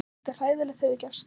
Svolítið hræðilegt hefur gerst.